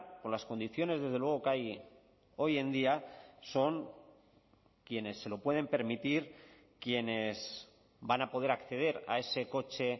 con las condiciones desde luego que hay hoy en día son quienes se lo pueden permitir quienes van a poder acceder a ese coche